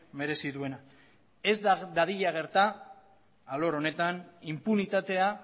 merezi duena ez dadila gerta alor honetan inpunitatea